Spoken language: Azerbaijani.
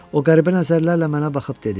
O qəribə nəzərlərlə mənə baxıb dedi: